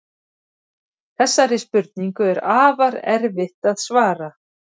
Þessari spurningu er afar erfitt að svara.